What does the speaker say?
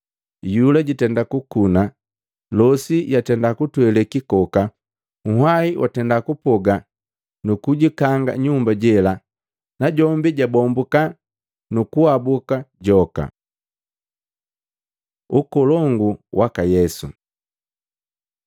Iyula jatenda kukuna, losi yatenda kutwele kikoka, nhwai watenda kupoga nukujikanga nyumba jela, najombi jabombuka nukuhabuka joka.” Ukolongu waka Yesu